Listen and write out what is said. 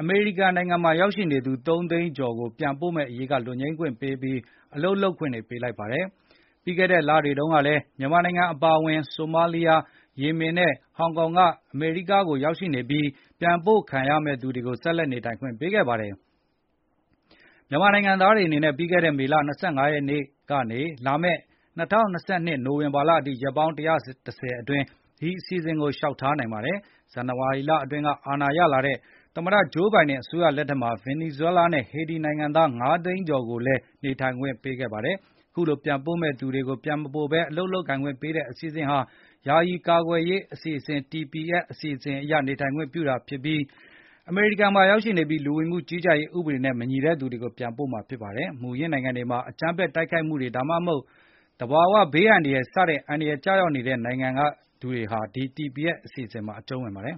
အမေရိကန်နိုင်ငံမှာရောက်ရှိနေသူ ၃၀၀,၀၀၀ ကျာ်ကို ပြန်ပို့မယ့်အရေးက လွတ်ငြိမ်းခွင့်ပေးပြီး အလုပ်လုပ်ခွင့်တွေ ပေးလိုက်ပါတယ်။ ပြီးခဲ့တဲ့လပိုင်းတွေတုန်းကလည်း မြန်မာနိုင်ငံအပါအဝင် ဆိုမာလီယာ၊ ယီမင် နဲ့ ဟောင်က ကနေ အမေရိကန်ကို ရောက်ရှိနေပြီး ပြန်ပို့ခံရမယ့်သူတွေကို ဆက်လက်နေထိုင်ခွင့်ပေးခဲ့ပါတယ်။ မြန်မာနိုင်ငံသားတွေအနေနဲ့ ပြီးခဲ့တဲ့မေလ ၂၅ ရက်နေ့ လာမယ့် ၂၀၂၂ နိုဝင်ဘာလအထိ ရက်ပေါင်း ၁၈၀ အတွင်း ဒီအစီအစဉ်ကိုလျှောက်ထားနိုင်ပါတယ်။ ဇန်နဝါရီလအတွင်းက အာဏာရလာတဲ့ သမ္မတ ဂျိုးဘိုင်ဒင် အစိုးရလက်ထက်မှာ ဗင်နီဇွဲလားနဲ့ ဟေတီနိုင်ငံသား ၅၀၀,၀၀၀ ကျာ်ကိုလည်း နေထိုင်ခွင့်ပေးခဲ့ပါတယ်။ အခုလို ပြန်ပို့မယ့်သူတွေ ပြန်မပို့ဘဲ အလုပ်လုပ်ကိုင်ခွင့်တွေပေးတဲ့ အစီအစဉ်ဟာ ယာယီ အကာကွယ်ပေးရေး အစီစဉ် TPS Temporary Protected Status အရ ပြန်မပို့ဘဲ နေ ထိုင်ခွင့်ပြုတာဖြစ်ပါတယ်။ အမေရိကန်နိုင်ငံမှာရောက်ရှိနေပြီး လူဝင်မှုကြီးကြပ်ရေး ဥပဒေနဲ့မညီလို့ပြန်ပို့ခံရမယ့်သူတွေဖြစ်ပါတယ်။ မူရင်းနိုင်ငံမှာ အကြမ်းဖက်တိုက်ခိုက်မှုတွေ ဒါမှမဟုတ် သဘာဝဘေးအန္တရာယ်တွေစတဲ့ အန္တရာယ်ကျရောက်နေတဲ့နိုင်ငံကသူတွေဟာ ဒီ TPS အစီအစဉ်မှာအကြုံးဝင်ပါတယ်